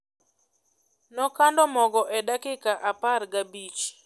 Nokando mogo e dakika apar gabich